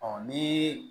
ni